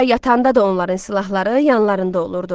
Hətta yatanda da onların silahları yanlarında olurdu.